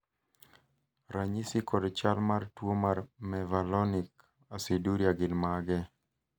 ranyisi kod chal mar tuo mar Mevalonic aciduria gin mage?